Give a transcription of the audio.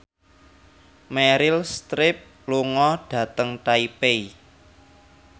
Meryl Streep lunga dhateng Taipei